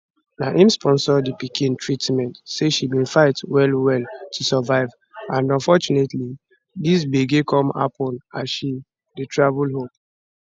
na im sponsor di pikin treatment say she bin fight wellwell to survive and unfortunately dis gbege come happun as she dey travel home